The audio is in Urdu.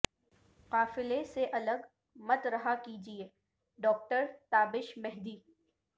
قافلے سے الگ مت رہا کیجئے ڈاکٹر تابش مہدی